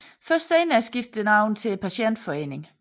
Først senere skiftede den navn til Patientforeningen